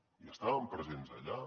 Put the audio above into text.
hi estàvem presents allà